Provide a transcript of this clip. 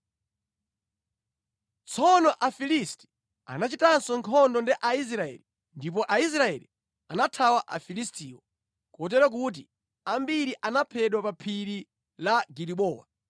Tsono Afilisti anachitanso nkhondo ndi Aisraeli ndipo Aisraeli anathawa Afilistiwo, kotero kuti ambiri anaphedwa pa phiri la Gilibowa.